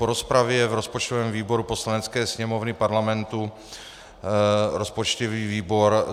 Po rozpravě v rozpočtovém výboru Poslanecké sněmovny Parlamentu rozpočtový výbor